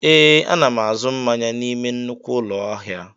Ee, a na m azụ mmanya n'ime nnukwu ụlọ ahịa